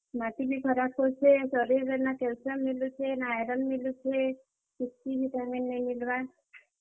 ମାଟି ବି ଖରାପ୍ ହେଉଛେ, ଶରୀର୍ ରେ ନା କ୍ୟାଲସିୟମ୍ ମିଲୁଛେ, ନାଁ ଆଇରନ୍ ମିଲୁଛେ, କିଛି ଭିଟାମିନ୍ ନାଇଁ ମିଲବାର, ।